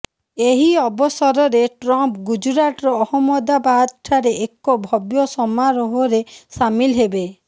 ଏହି ଅବସରରେ ଟ୍ରମ୍ପ୍ ଗୁଜୁରାଟର ଅହମ୍ମଦାବାଦଠାରେ ଏକ ଭବ୍ୟ ସମାରୋହରେ ସାମିଲ୍ ହେବେ